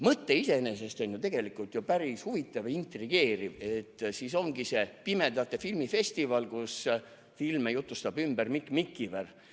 Mõte iseenesest on ju tegelikult päris huvitav ja intrigeeriv, et ongi pimedate filmifestival, kus filme jutustab ümber Mikk Mikiver.